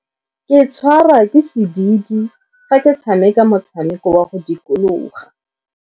Ke tshwarwa ke sediidi fa ke tshameka motshameko wa go dikologa.